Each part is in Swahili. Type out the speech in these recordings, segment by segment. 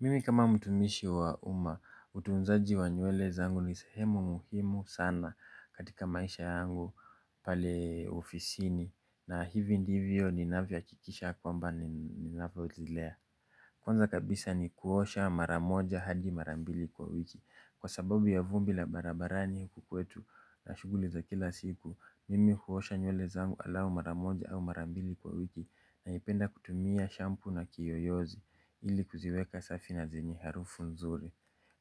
Mimi kama mtumishi wa uma utunzaji wa nywele zangu ni sehemu muhimu sana katika maisha yangu pale ofisini na hivi ndivyo ninavyo hakikisha kwamba ninavyo zilea. Kwanza kabisa ni kuosha maramoja hadi marambili kwa wiki. Kwa sababu ya vumbi la barabarani huku kwetu na shuguli za kila siku. Mimi kuosha nywele zangu alawu maramoja au marambili kwa wiki. Naipenda kutumia shampoo na kiyoyozi ili kuziweka safi na zenye harufu nzuri.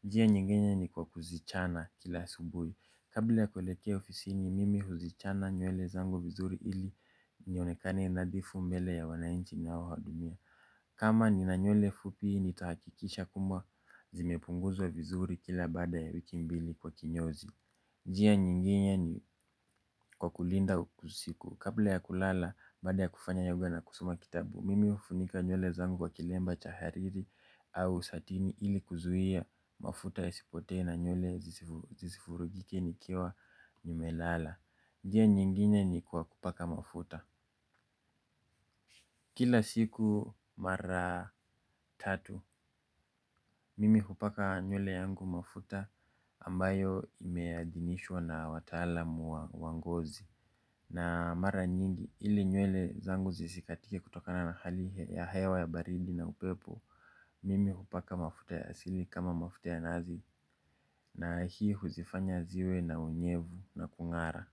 Njia nyinginye ni kwa kuzichana kila asubuhi. Kabla ya kuelekea ofisini mimi huzichana nywele zangu vizuri ili nionekane nadhifu mbele ya wanainchi naowahudumia. Kama nina nywele fupi ni tahakikisha kuwa zimepunguzwa vizuri kila baada ya wiki mbili kwa kinyozi. Njia nyingine ni kwa kulinda usiku. Kabla ya kulala baada ya kufanya yoga na kusoma kitabu mimi ufunika nywele zangu wa kilemba cha hariri au satini ili kuzuhia mafuta yasipotee na nywele zisifurugike ni nimelala. Njia nyingine ni kwa kupaka mafuta. Kila siku mara tatu mimi hupaka nywele yangu mafuta ambayo imeadinishwa na wataalamu wa ngozi. Na mara nyingi ili nywele zangu zisikatike kutokana na hali ya hewa ya baridi na upepo mimi hupaka mafuta ya asili kama mafuta ya nazi. Na hii huzifanya ziwe na unyevu na kungara.